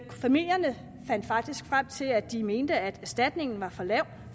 familierne fandt faktisk frem til at de mente at erstatningen var for lav